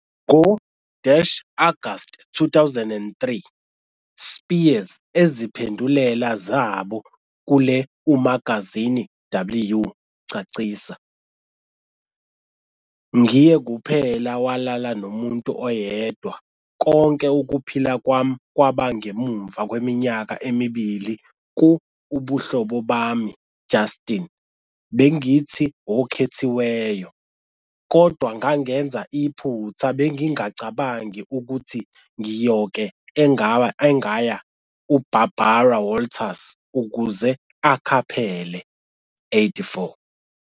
Ngo-August 2003, Spears eziphendulela zabo kule umagazini W, cacisa- "ngiye kuphela walala nomuntu oyedwa konke ukuphila kwami ​​kwaba ngemva kweminyaka emibili ku ubuhlobo bami Justin Bengithi okhethiweyo, kodwa ngangenza iphutha Bengingacabangi ukuthi ngiyoke engaya uBarbara Walters ukuze akhaphele". 84